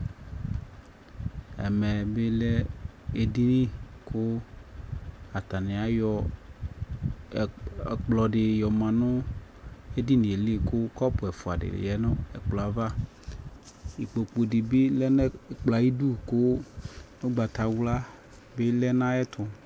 ɛmɛ bi lɛ ɛdini kʋ atani ayɔ ɛkplɔ di yɔ manʋ ɛdiniɛ li kʋ cʋp ɛƒʋa dilɛnʋ ɛkplɔɛ aɣa, ikpɔkʋ nibi lɛnʋɛkplɔɛ ayidʋ kʋ ɔgbatawla bi lɛnʋ ayɛtʋ